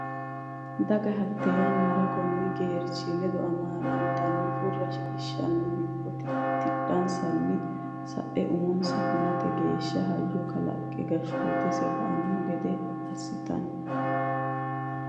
Daga hatte yannara konni geerchi ledo amaalamatenni Furra shiqishshanno hibbo tidhatenni sa e umose hunate geeshsha hayyo kalaqqe gashshootise ba anno gede assitino.